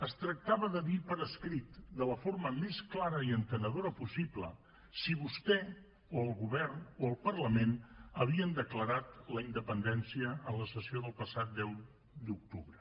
es tractava de dir per escrit de la forma més clara i entenedora possible si vostè o el govern o el parlament havien declarat la independència en la sessió del passat deu d’octubre